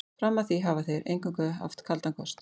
Fram að því hafa þeir eingöngu haft kaldan kost.